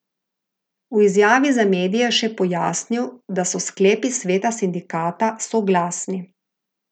V izjavi za medije je še pojasnil, da so sklepi sveta sindikata soglasni.